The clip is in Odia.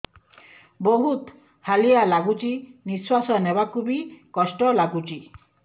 ବହୁତ୍ ହାଲିଆ ଲାଗୁଚି ନିଃଶ୍ବାସ ନେବାକୁ ଵି କଷ୍ଟ ଲାଗୁଚି